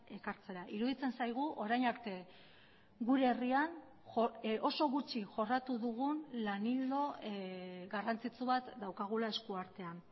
ekartzera iruditzen zaigu orain arte gure herrian oso gutxi jorratu dugun lan ildo garrantzitsu bat daukagula esku artean